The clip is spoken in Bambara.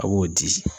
A b'o di